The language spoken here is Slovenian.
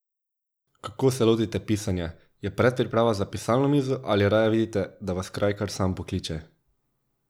Kako se lotite pisanja, je predpriprava za pisalno mizo ali raje vidite, da vas kraj kar sam pokliče?